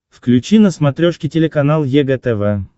включи на смотрешке телеканал егэ тв